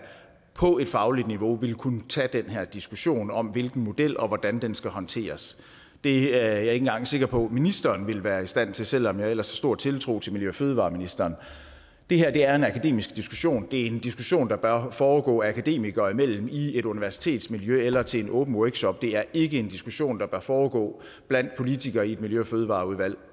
på et fagligt niveau ville kunne tage den her diskussion om hvilken model og hvordan den skal håndteres det er jeg ikke engang sikker på at ministeren vil være i stand til selv om jeg ellers har stor tiltro til miljø og fødevareministeren det her er en akademisk diskussion det er en diskussion der bør foregå akademikere imellem i et universitetsmiljø eller til en åben workshop det er ikke en diskussion der bør foregå blandt politikere i et miljø og fødevareudvalg